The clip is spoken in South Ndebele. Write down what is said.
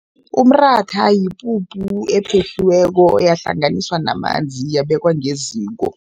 Umratha yipuphu ephehliweko, yahlanganiswa namanzi, yabekwa ngeziko.